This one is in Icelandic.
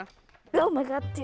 maður er